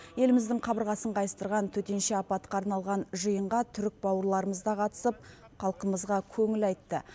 еліміздің қабырғасын қайыстырған төтенше апатқа арналған жиынға түрік бауырларымыз да қатысып халқымызға көңіл айтты